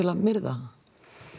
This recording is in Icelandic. að myrða